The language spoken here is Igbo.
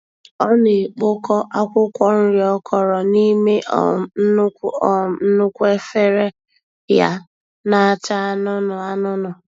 Ọ na-ekpokọ akwụkwọ nri ọ kọrọ n'ime um nnukwu um nnukwu efere ya na-acha anunu anunu.